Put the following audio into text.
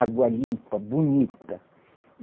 Água limpa, bonita.